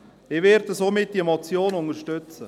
Ich werde diese Motion deshalb unterstützen.